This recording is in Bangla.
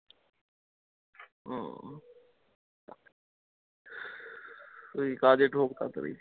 ঐ কাজে ঢোক তাড়াতাড়ি।